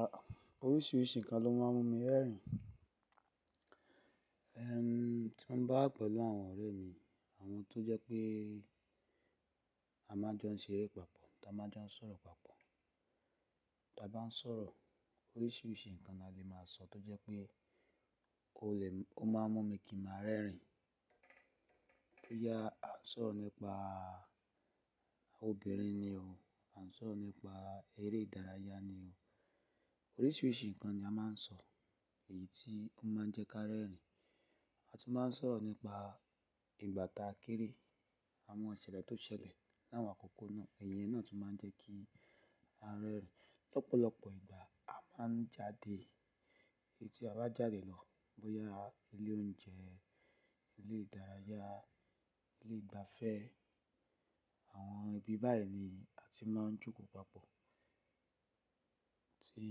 À, oríṣiríṣi nǹkan ló má ń mú mi rẹ́rìn. Ehn, tí n bá pẹ̀lú àwọn ọ̀rẹ́ mi, àwọn tó jẹ́ pé a má ń jon ṣeré papọ̀, ta má ń jon sọ̀rọ̀ papọ̀. Ta bá ń sọ̀rọ̀, oríṣiríṣi nǹkan la lè má a sọ tó jẹ́ pé o lè, ó má ń mú mi kí n má a rẹ́rìn. Bóyá à ń sọ̀rọ̀ nípa àwọn obìnrin ni o, à ń sọ̀rọ̀ nípa eré ìdárayá ni o. Oríṣiríṣi nǹkan ni a má ń sọ èyí tí ó má ń jẹ́ kí a rẹ́rìn. A tún má ń sọ̀rọ̀ nípa ìgbà ta kéré, àwọn ìṣẹ̀lẹ̀ tó ṣẹlẹ̀ láwọn àkókò náà, èyẹ náà tún má ń jẹ́ kí a rẹ́rìn. Lọ́pọ̀lọ́pọ̀ ìgbà, a má ń jáde. Tí a bá jáde lọ, bóyá ilé oúnjẹ, ilé ìdárayá, ilé ìgbafẹ́, àwọn ibi báyìí ni a ti má ń jókòó papọ̀. Tí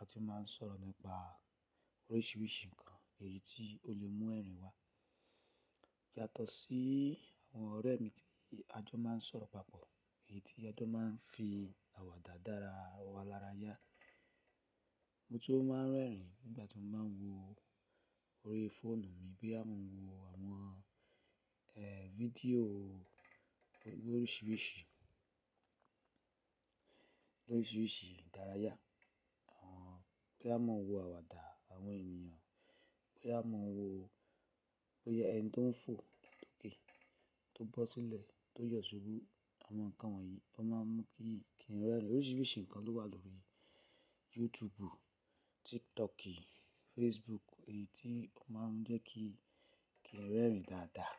a tun má ń sọ̀rọ̀ nípa oríṣiríṣi nǹkan èyí tí ó lè mú ẹ̀rín wá. Yàtọ̀ sí àwọn ọ̀rẹ́ mi tí a jọ má ń sọ̀rọ̀ papọ̀, èyí tí a jọ má ń fi àwàdà dára wa lárayá. Mo tun máa ń rẹ́rìn nígbà tí mo bá ń wo orí fóònù mi bí a má ń wo àwọn, eh, fídíò oríṣiríṣi, oríṣiríṣi ìdárayá. Àwọn, boya mo n wo àwàdà àwọn ènìyàn, boya mo ń wo, bóyá ẹni tó ń fò loke tó bọ́ sílẹ̀ tó yọ̀ ṣubú, àwọn nǹkan wọ̀nyí tó má ń mú kí n rẹ́rìn. Oríṣiríṣi nǹkan ló wà lórí YouTube, TikTok, Facebook èyí tí ó má ń jẹ́ kí kí n rẹ́rìn dáadáa.